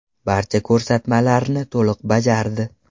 Barcha ko‘rsatmalarni to‘liq bajardi.